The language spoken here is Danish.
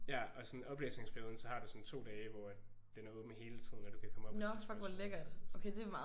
Ja og sådan i oplæsningsperioden så har du sådan 2 dage hvor at den er åbent hele tiden og du kan komme op og stille spørgsmål og sådan noget